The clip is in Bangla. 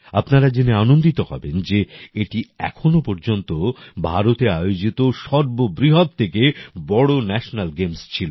আপনারা জেনে আনন্দিত হবেন যে এটি এখনো পর্যন্ত ভারতে আয়োজীত সর্ব বৃহৎ থেকে বড় ন্যাশেনাল গেমস ছিল